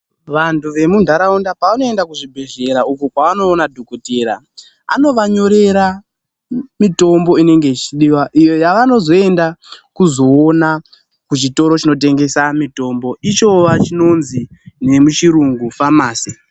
Vantu vemunharaunda pavanoenda kuzvibhedhlera, uko kwavanoona dhokodheya, anovanyorera mitombo inenge ichidiwa iyo yavanozoenda kuzoona kuzvitoro chinotengesa mitombo ichova chinonzi nemuchirungu famasi.